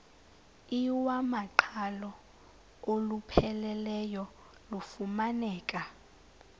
iwamaqhalo olupheleleyo lufumaneka